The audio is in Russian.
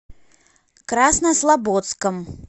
краснослободском